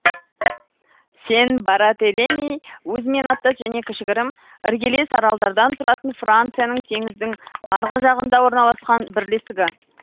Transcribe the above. сен бартелеми өзімен аттас және кішігірім іргелес аралдардан тұратын францияның теңіздің арғы жағында орналасқан бірлестігі